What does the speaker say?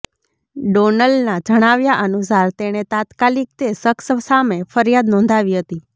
ડોનલના જણાવ્યા અનુસાર તેણે તાત્કાલીક તે શખ્સ સામે ફરિયાદ નોંધાવી હતી